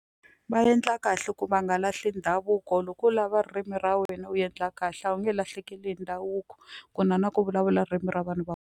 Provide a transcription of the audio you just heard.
Va endla kahle ku va nga lahli ndhavuko loko u lava ririmi ra wena u endla kahle a wu nge lahlekeli hi ndhavuko ku na na ku vulavula ririmi ra vanhu va.